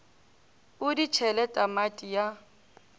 o di tšhele tamati ya